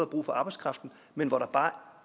brug for arbejdskraften men hvor der bare